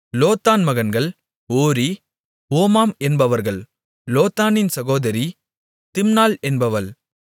லோத்தான் மகன்கள் Hori Homam என்பவர்கள் லோத்தானின் சகோதரி திம்னாள் என்பவள்